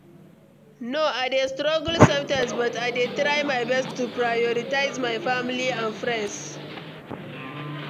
No, i dey struggle sometimes, but i dey try my best to prioritize my family and friends.